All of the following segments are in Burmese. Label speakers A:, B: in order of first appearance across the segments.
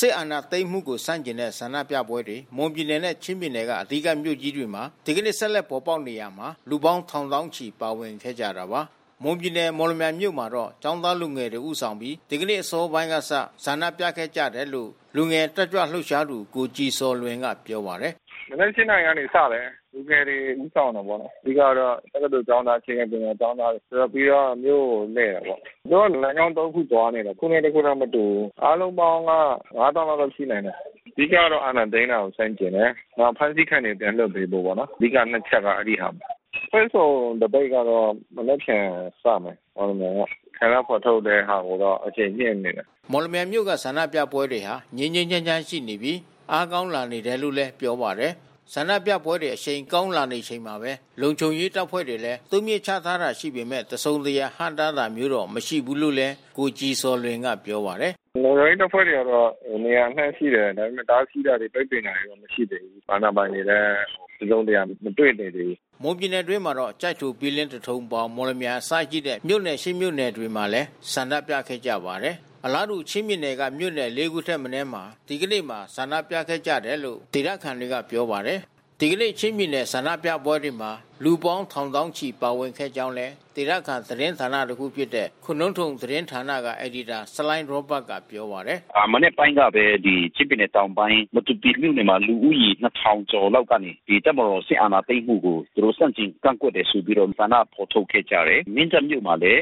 A: စစ်အာဏာသိမ်းမှုကို ဆန့်ကျင်တဲ့ ဆန္ဒပြပွဲတွေ မွန်ပြည်နယ်နဲ့ ချင်းပြည်နယ်က အဓိကမြို့ကြီးတွေမှာ ဒီကနေ့ ဆက်လက်ပေါ်ပေါက်နေရာမှာ လူပေါင်းထောင်သောင်းချီ ပါဝင်ခဲ့ကြတာပါ။ မွန်ပြည်နယ် မော်လမြိုင်မြို့မှာတော့ ကျောင်းသားလူငယ်တွေ ဦးဆောင်ပြီး ဒီကနေ့အစောပိုင်းကစ ဆန္ဒပြခဲ့ကြတယ်လို့လည်း လူငယ်တက်ကြွလှုပ်ရှားသူ ကိုကြည်ဇော်လွင်က ပြောပါတယ်။ “မနက် ၈ နာရီကနေ စတယ်။
B: လူငယ်တွေ ဦးဆောင်တာပေါ့နော်။ အဓိကကတော့ တက္ကသိုလ်ကျောင်းသား အခြေခံပညာကျောင်းသားတွေ အဓိကမြို့ကိုလှည့်တာပေါ့။ သူတို့ကလမ်းကြောင်း သုံး ခု သွားနေတယ်။ တခုနဲ့ တခုမတူဘူးပေါ့။ အားလုံးပေါင်းက ၅၀,၀၀၀ လောက်တော့ရှိနိုင်တယ်။ အဓိကကတော့ အာဏာသိမ်းတာကို ဆန့်ကျင်တယ်။ နောက်အဖမ်းဆီးခံတာတွေ ပြန်လွှတ်ပေးဖို့ပေါ့နော်... အဓိက နှစ်ချက်က အဲဒီဟာပါပဲ။ အဖွဲ့စုံသပိတ်က မနက်ဖြန်စမယ်... မော်လမြိုင်က။ ဆန္ဒဖော်ထုတ်တဲ့ဟာကိုတော့ အရှိန်မြှင့်နေတယ်။
A: ” မော်လမြိုင်မြို့က ဆန္ဒပြပွဲတွေဟာ ငြိမ်းငြိမ်းချမ်းချမ်းရှိနေပြီ အားကောင်းလာနေတယ်လို့လည်း ပြောပါတယ်။ ဆန္ဒပြပွဲတွေ အရှိန်ကောင်းလာနေချိန်မှာပဲ လုံခြုံရေးတပ်ဖွဲ့တွေလည်း တိုးမြှင့်ချထားတာရှိပေမဲ့ တစုံတရာ ဟန့်တားတာမျိုးတော့ မရှိဘူးလို့လည်း ကိုကြည်ဇော်လွင်က ပြောပါတယ်။
B: “လုံခြုံရေးတပ်ဖွဲ့တွေကတော့ န
A: ေရာအနှံ့ရှိတယ်။ ဒါပေမဲ့တားဆီးတာတွေ ပိတ်ပင်တာတွေတော့မရှိဘူး။ အာဏာပိုင်တွေလည်း တစုံတရာ မတွေ့နိုင်သေးဘူး။” မွန်ပြည်နယ်အတွင်းမှာတော့ ကျိုက်ထို ဘီလင်း သထုံ ပေါင် မော်လမြိုင် အစရှိတဲ့ မြို့နယ် ၈ မြို့နယ်မှာလည်း ဆန္ဒပြခဲ့ကြပါတယ်။ အလားတူ ချင်းပြည်နယ်က မြို့နယ် လေး ခုထက်မနည်းမှာ ဒီကနေ့မှာ ဆန္ဒပြခဲ့ကြတယ်လို့ ဒေသခံတွေက ပြောပါတယ်။ ဒီကနေ့ ချင်းပြည်နယ်က ဆန္ဒပြပွဲတွေမှာ လူပေါင်းထောင်သောင်းချီ ပါဝင်ခဲ့ကြောင်းလည်း ဒေသခံသတင်းဌာန တခုဖြစ်တဲ့ ခိုနုန်းသုမ်သတင်းဌာနက အယ်ဒီတာ ဆလိုင်းရောဘတ်ကပြောပါတယ်။
C: “မနက်ပိုင်းကပဲ ချင်းပြည်နယ်တောင်ပိုင်း မတူပီမြို့နယ်မှာ လူဦးရေ ၂,၀၀၀ ကျော်လောက်က ဒီတပ်မတော်စစ်အာဏာသိမ်းမှုကို သူတို့ဆန့်ကျင်ကန့်ကွက်တယ်ဆိုပြီးတော့ ဆန္ဒဖော်ထုတ်ခဲ့ကြတယ်။ မင်းတပ်မြို့မှာလည်း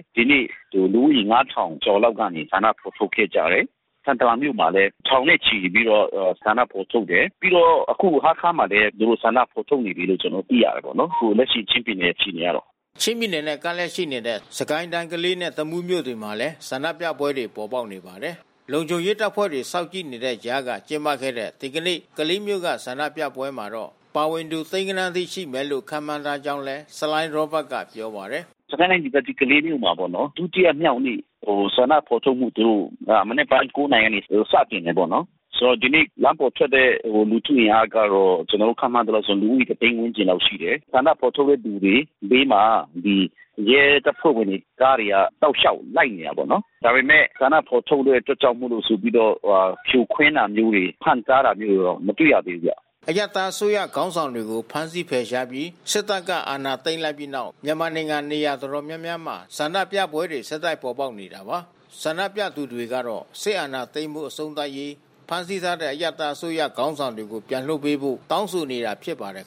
C: လူဦးရေ ၅,၀၀၀ ကျော်လောက်က ဆန္ဒ ဖော်ထုတ်ခဲ့ကြတယ်။ ထန်တလန်မြို့မှာလည်း ထောင်နဲ့ချီပြီးတော့ ဆန္ဒဖော်ထုတ်တယ်။ ပြီးတော့အခုဟားခါးမှာလည်း သူတို့ဆန္ဒဖော် ထုတ်နေကြပြီးလို့ ကျနော်တို့ သိရတယ်ပေါ့နော်။ အခုလက်ရှိ ချင်းပြည်နယ်အခြေအနေကတော့
A: ။” ချင်းပြည်နယ်နဲ့ ကပ်လျက်ရှိနေတဲ့ စစ်ကိုင်းတိုင်း၊ ကလေးနဲ့ တမူးမြို့တွေမှာလည်း ဆန္ဒပြပွဲတွေ ပေါ်ပေါက်နေပါတယ်။ လုံခြုံရေးတပ်ဖွဲ့တွေ စောင့်ကြည့်နေတဲ့ကြားက ကျင်းပခဲ့တဲ့ ဒီကနေ့ ကလေးမြို့က ဆန္ဒပြပွဲမှာတော့ ပါဝင်သူ သိန်းဂဏန်းအထိရှိမယ်လို့ ခန့်မှန်းထားကြောင်းလည်း ဆလိုင်းရောဘတ်ကပြောပါတယ်။
C: “စစ်ကိုင်းတိုင်းဒေသကြီး ကလေးမြို့မှာပေါ့နော်... ဒုတိယမြောက်နေ့ ဆန္ဒဖော်ထုတ်မှုတို့ မနက်က ၉ နာရီက စတင်တာပေါ့နော်။ ဒီနေ့ လမ်းပေါ်ထွက်တဲ့လူထုအင်အားကတော့ ကျနော်တို့ ခန့်မှန်းသလောက်ဆိုရင် လူဦးရေ ၁၀၀,၀၀၀ ဝန်းကျင်လောက်ရှိတယ်။ ဆန္ဒဖော်ထုတ်တဲ့သူတွေဘေးမှာ ရဲတပ်ဖွဲ့ဝင်တွေ ကားတွေက တောက်ရှောက်လိုက်နေတာပေ့ါနော်။ ဒါပေမဲ့ ဆန္ဒဖော်ထုတ်တဲ့အတွက်ကြောင့်မို့လို့ ဆိုပြီးတော့ ဖြိုခွင်းတာတို့ ဟန့်တားတာမျိုးတွေ မတွေ့ရသေးဘူးဗျ။”
A: အရပ်သားအစိုးရခေါင်းဆောင်တွေကို ဖမ်းဆီးဖယ်ရှားပြီး စစ်တပ်က အာဏာသိမ်းလိုက်ပြီးနောက် မြန်မာနိုင်ငံ နေရာတော်တော်များများမှာ ဆန္ဒပြပွဲတွေ ဆက်တိုက်ပေါ်ပေါက်နေတာပါ။ ဆန္ဒပြသူတွေကတော့ စစ်အာဏာသိမ်းမှု အဆုံးသတ်ရေး၊ ဖမ်းဆီးထားတဲ့ အရပ်သား အစိုးရ ခေါင်းဆောင်တွေကို ပြန်လွှတ်ပေးဖို့ တောင်းဆိုနေတာ ဖြစ်ပါတယ်